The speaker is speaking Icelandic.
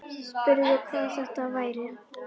Spurði hvað þetta væri.